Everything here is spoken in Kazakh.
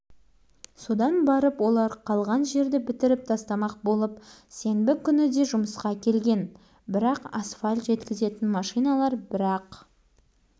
алдымен олар әлі жөнді қата қоймаған асфальтқа келіп тиісті өкшелерін қадап іздерін түсіріп байқады